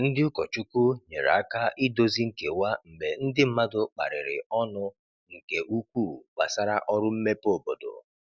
Ndị ụkọchukwu nyere aka idozi nkewa mgbe ndi mmadụ kparịrị ọnụ nke ukwuu gbasara ọrụ mmepe obodo.